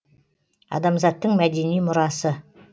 адамзаттың мәдени мұрасы